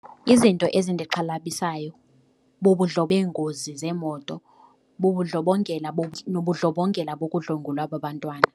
Izinto ezindixhalabisayo beengozi zeemoto bubudlobongela nobudlobongela bokudlwengulwa kwabantwana.